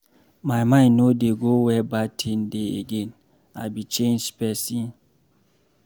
My mind no dey go where bad thing dey again. I be changed person.